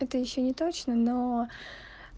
это ещё не точно но